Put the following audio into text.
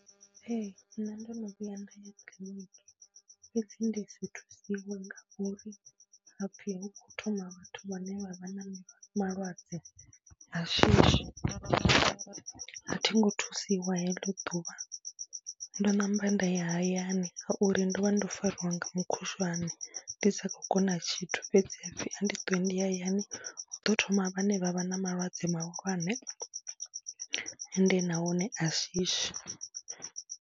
Ee, nṋe ndo no vhuya nda ya kiḽiniki fhedzi ndi si thusiwe ngauri ha pfhi hu khou thoma vhathu vhane vha vha na malwadze a shishi. A thi ngo thusiwa heḽo ḓuvha, ndo namba nda ya hayani ngauri ndo vha ndo fariwa nga mukhushwane ndi sa khou kona tshithu fhedzi ha pfhi ndi ṱuwe ndi ye hayani hu ḓo thoma vhane vha vha na malwadze mahulwane ende nahone a shishi.